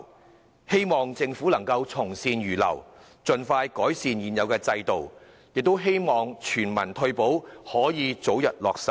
我希望政府能從善如流，盡快改善現有制度，並希望全民退保得以早日落實。